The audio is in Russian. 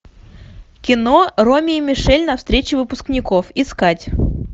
кино роми и мишель на встрече выпускников искать